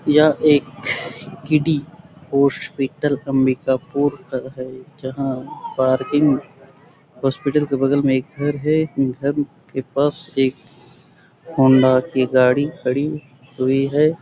यह एक पोर्टल है जहाँ बार्गिंग हॉस्पिटल के बगल मै एक घर है घर के पास होंडा की गाड़ी खड़ी हुई है।